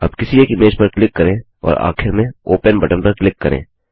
अब किसी एक इमेज पर क्लिक करें और आखिर में ओपन बटन पर क्लिक करें